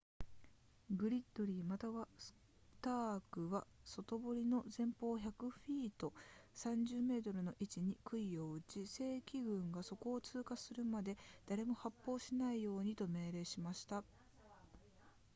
グリッドリーまたはスタークは外柵の前方約100フィート30 m の位置に杭を打ち、正規軍がそこを通過するまで誰も発砲しないようにと命令しました